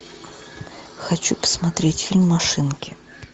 хочу посмотреть фильм машинки